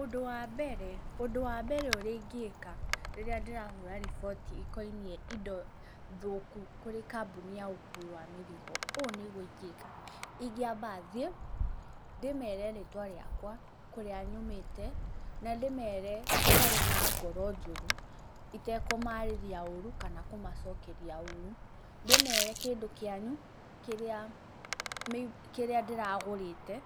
ũndũ wa mbere, ũndũ wa mbere ũrĩa ingĩka rĩrĩa ndĩrahũra rĩboti ĩkoinie indo thũku kũrĩ kambuni ya ũkuui wa mĩrigo o nĩguo ingĩka, ingĩamba thiĩ, ndĩmere rĩtwa rĩakwa, kũrĩa nyũmĩte na ndĩmere itarĩ na ngoro njũru, itekũmarĩrĩa ũru kana kũmacokeria ũru. Ndĩmere kĩndũ kĩanyu kĩrĩa ndĩragũrĩte,